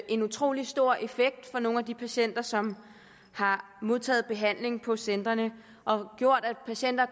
en utrolig stor effekt for nogle af de patienter som har modtaget behandling på centrene og har gjort at patienter